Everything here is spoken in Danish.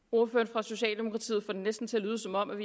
for socialdemokratiet får det næsten til at lyde som om